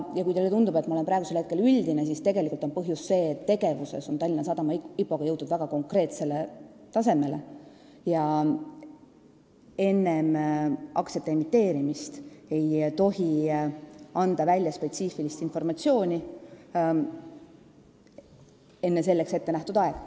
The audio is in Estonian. Ja kui teile tundub, et ma olen liiga üldiselt vastanud, siis selle põhjus on see, et Tallinna Sadama IPO-ga on jõutud väga konkreetsele tasemele ja enne aktsiate emiteerimist ei tohi enne selleks ette nähtud aega spetsiifilist informatsiooni jagada.